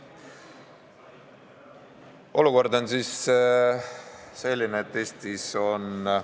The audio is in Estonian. Olukord on selline, et Eestis on ...